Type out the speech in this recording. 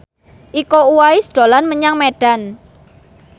Iko Uwais dolan menyang Medan